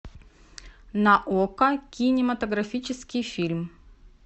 на окко кинематографический фильм